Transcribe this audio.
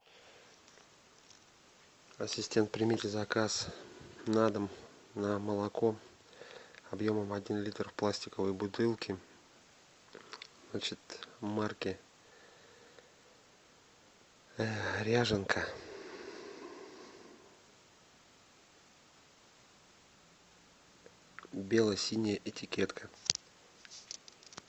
ассистент примите заказ на дом на молоко объемом один литр в пластиковой бутылке значит марки ряженка бело синяя этикетка